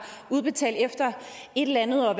udbetalt efter et eller andet og